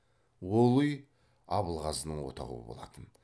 ол үй абылғазының отауы болатын